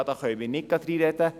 Da können wir nicht reinreden.